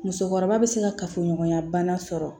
Musokɔrɔba bɛ se kafoɲɔgɔnya bana sɔrɔ